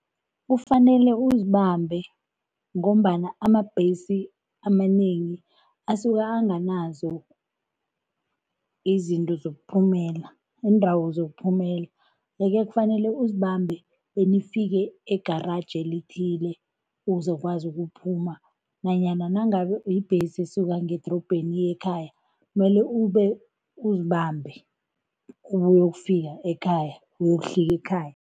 Kufanele uzibambe ngombana amabhesi amanengi asuka anganazo izinto zokuphumela, iindawo izokuphumela yeke kufanele uzibambe benifike e-garage elithile, uzokwazi ukuphuma nanyana nangabe ibhesi esuka ngedorobheni iya ekhaya, mele uzibambe ubuyokufika ekhaya, uyokuhlika ekhaya.